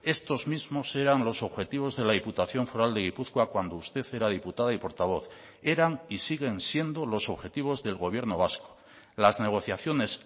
estos mismos eran los objetivos de la diputación foral de gipuzkoa cuando usted era diputada y portavoz eran y siguen siendo los objetivos del gobierno vasco las negociaciones